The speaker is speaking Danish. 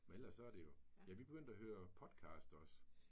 Men ellers så er det jo. Men vi er begyndt at høre podcast også